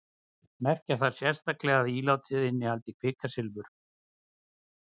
merkja þarf sérstaklega að ílátið innihaldi kvikasilfur